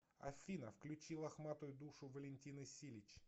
афина включи лохматую душу валентины силич